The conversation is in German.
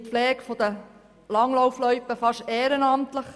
Die Pflege der Langlaufloipen erfolgt meist ehrenamtlich.